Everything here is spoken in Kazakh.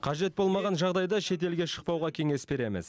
қажет болмаған жағдайда шетелге шықпауға кеңес береміз